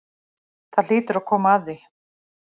Það hlýtur að koma að því.